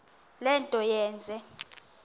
le nto yenze